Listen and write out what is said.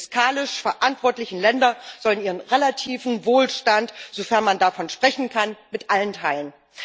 Die fiskalisch verantwortlichen Länder sollen ihren relativen Wohlstand, sofern man davon sprechen kann, mit allen teilen.